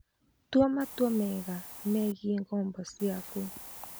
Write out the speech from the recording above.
Tua matua mega megiĩ ngombo ciaku.